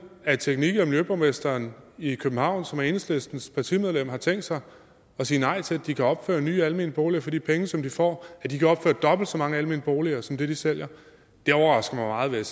at teknik og miljøborgmesteren i københavn som er enhedslistens partimedlem har tænkt sig at sige nej til at de kan opføre nye almene boliger for de penge som de får at de kan opføre dobbelt så mange almene boliger som de sælger det overrasker mig meget vil